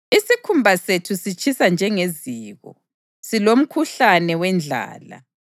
Isikhumba sethu sitshisa njengeziko, silomkhuhlane wendlala.